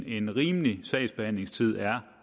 en rimelig sagsbehandlingstid er